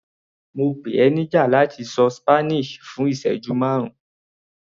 Mo pè ọ níjà láti ṣọ Spanish fún ìsẹ́jú márùn-ún.